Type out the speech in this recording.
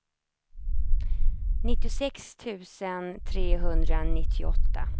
nittiosex tusen trehundranittioåtta